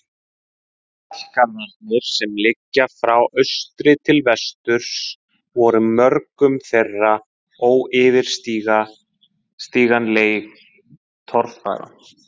Fjallgarðarnir, sem liggja frá austri til vesturs, voru mörgum þeirra óyfirstíganleg torfæra.